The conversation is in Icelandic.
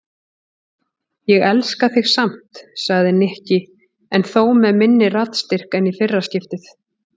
Ég elska þig samt sagði Nikki en þó með minni raddstyrk en í fyrra skiptið.